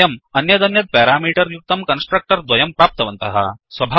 वयम् अन्यदन्यत् पेरामीटर् युक्तं कन्स्ट्रक्टर् द्वयं प्राप्तवन्तः